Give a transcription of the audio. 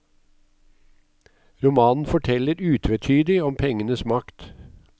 Romanen forteller utvetydig om pengenes makt.